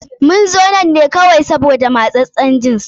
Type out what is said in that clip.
Mun zo nan ne kawai sabida matsassen jins.